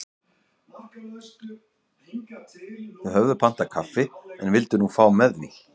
Þau höfðu pantað kaffi en vildu nú fá með því.